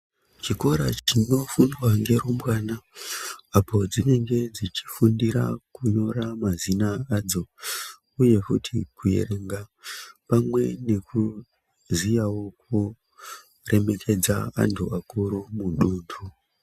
Chikora chinofundwa ngerumbwana apo dzinenge dzichifundira kunyora mazina adzo uyezve kuerenga pamwe nekuziyawo kuremekedza anhu akuru mudunhu.